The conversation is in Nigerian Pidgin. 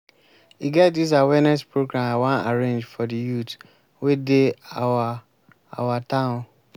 i wan make all of us join hand hand advocate for the peace of dis town